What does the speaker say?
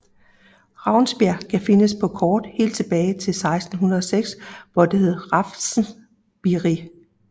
Ravnsbjerg kan findes på kort helt tilbage til 1606 hvor det hed Raffnsbierig